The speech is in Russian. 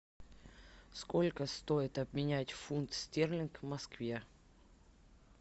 сколько стоит обменять фунт стерлингов в москве